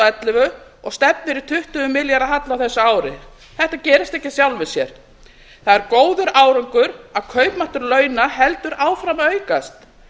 ellefu og stefnir í tuttugu milljarða halla á þessu ári þetta gerist ekki af sjálfu sér það er góður árangur að kaupmáttur launa heldur áfram að aukast